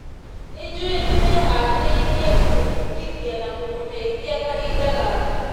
Nĩnjũĩ nĩmeharĩirie kũmũbundithia na kũmũteithia kahinda gaka.